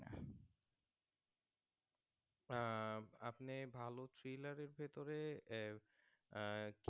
আহ আপনি ভালো Thriller এর ভিতরে এ আহ